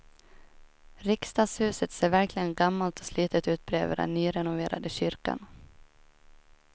Riksdagshuset ser verkligen gammalt och slitet ut bredvid den nyrenoverade kyrkan.